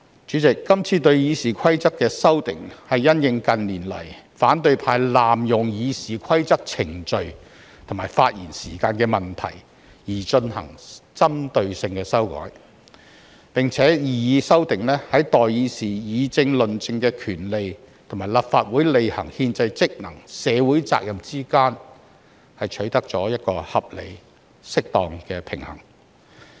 主席，今次對《議事規則》的修訂，是因應近年來反對派濫用《議事規則》程序及發言時限的問題而進行針對性的修改，擬議修訂亦在代議士議政論政的權利，以及立法會履行憲制職能及社會責任之間取得了一個合理和適當的平衡。